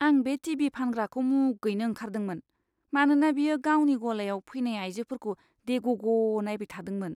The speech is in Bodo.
आं बे टि.भि. फानग्राखौ मुगैनो ओंखारदोंमोन, मानोना बियो गावनि गलायाव फैनाय आइजोफोरखौ देग'ग' नायबाय थादोंमोन!